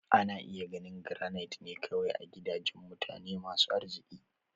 Ana iya ganin Garanait ne kawai a gidajen mutane masu arziki.